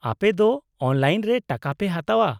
-ᱟᱯᱮ ᱫᱚ ᱚᱱᱞᱟᱭᱤᱱ ᱨᱮ ᱴᱟᱠᱟ ᱯᱮ ᱦᱟᱛᱟᱣᱟ ?